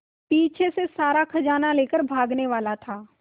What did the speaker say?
पीछे से सारा खजाना लेकर भागने वाला था